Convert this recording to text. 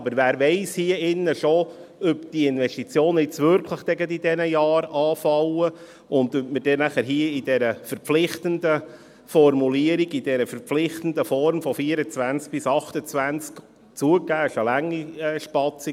Aber wer hier im Saal weiss schon, ob die Investitionen wirklich genau in diesen Jahren anfallen und ob wir mit dieser verpflichtenden Formulierung, in dieser verpflichtenden Form, von 2024 bis 2028 … Zugegeben, das ist ein langer Zeitraum.